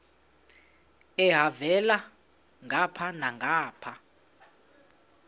elhavela ngapha nangapha